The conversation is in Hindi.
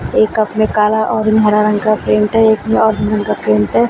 एक कप में काला और हरा रंग का प्रिंट हैं एक में का प्रिंट हैं।